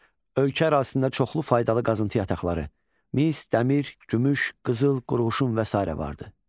Ölkə ərazisində çoxlu faydalı qazıntı yataqları, mis, dəmir, gümüş, qızıl, qurğuşun və sairə vardı.